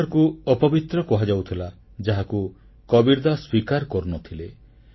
ମଗହରକୁ ଅପବିତ୍ର କୁହାଯାଉଥିଲା ଯାହାକୁ କବୀରଦାସ ସ୍ୱୀକାର କରୁନଥିଲେ